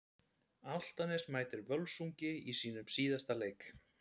Álftanes mætir Völsungi í sínum síðasta leik.